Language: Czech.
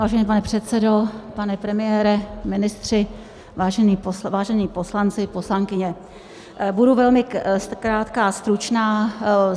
Vážený pane předsedo, pane premiére, ministři, vážení poslanci, poslankyně, budu velmi krátká, stručná.